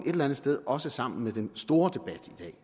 eller andet sted også sammen med den store debat